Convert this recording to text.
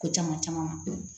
Ko caman caman